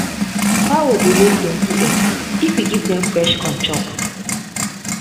fowl dey lay plenty egg if you give dem fresh corn chop.